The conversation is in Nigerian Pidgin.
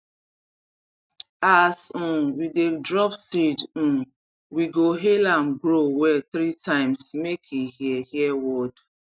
as um we dey drop seed um we go hail am grow well three times make e hear hear word